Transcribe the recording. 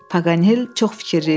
Paqanel çox fikirli idi.